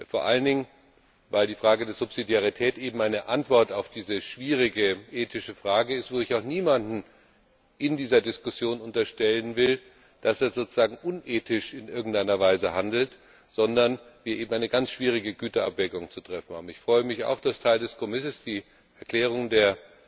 Vor allen Dingen, weil die Subsidiarität eben eine Antwort auf diese schwierige ethische Frage ist, wobei ich auch niemandem in dieser Diskussion unterstellen will, dass er sozusagen in irgendeiner Weise unethisch handelt, sondern wir eben eine ganz schwierige Güterabwägung zu treffen haben. Ich freue mich auch, dass Teil des Kompromisses die Erklärung der